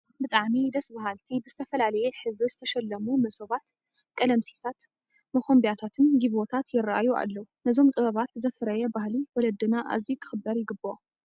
ብጣዕሚ ደስ በሃልቲ ብዝተፈላለየ ሕብሪ ዝተሸለሙ መሶባት፣ ቀለምሲሳት፣ መኾምቢያታት፣ ጊባቦታት ይርአዩ ኣለዉ፡፡ ነዞም ጥበባት ዘፍረየ ባህሊ ወለድና ኣዝዩ ክኽበር ይግብኦ፡፡